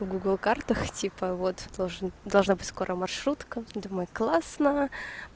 в гугл картах типа вот должен должна быть скоро маршрутка думаю классно